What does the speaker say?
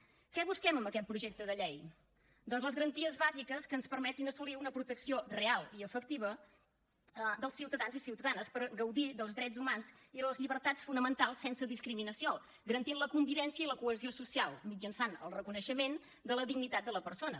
què busquem amb aquest projecte de llei doncs les garanties bàsiques que ens permetin assolir una protecció real i efectiva dels ciutadans i ciutadanes per gaudir dels drets humans i les llibertats fonamentals sense discriminació garantint la convivència i la cohesió social mitjançant el reconeixement de la dignitat de la persona